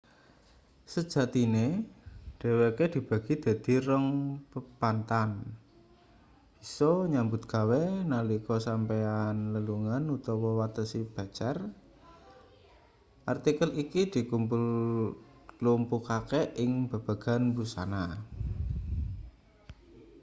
sejatine dheweke dibagi dadi rong pepanthan bisa nyambut gawe nalika sampeyan lelungan utawa watesi becer artikel iki dklumpukake ing babagan wusana